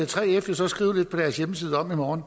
3f må så skrive i morgen